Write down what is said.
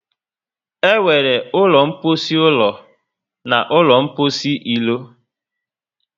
E nwere ụlọ mposi ụlọ na ụlọ mposi ilo